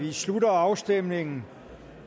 vi slutter afstemningen